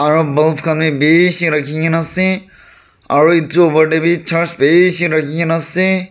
aru bulb khan bhi bisi rakhi kina ase aru etu opor te bhi church bisi rakhi kina ase.